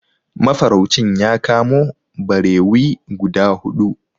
Mafaraucin ya kamo barewi guda huɗu.